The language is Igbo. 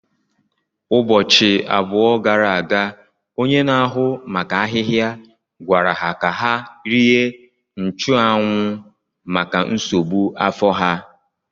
Ụbọchị abụọ gara aga, onye na-ahụ maka ahịhịa gwara ha ka ha rie nchuanwu maka nsogbu afọ ha.